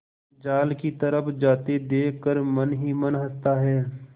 जाल की तरफ जाते देख कर मन ही मन हँसता है